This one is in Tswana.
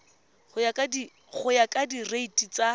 go ya ka direiti tsa